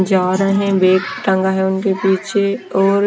जा रहे हैं बैग टंगा है उनके पीछे और।